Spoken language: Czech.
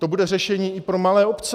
To bude řešení i pro malé obce.